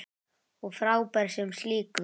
Og frábær sem slíkur.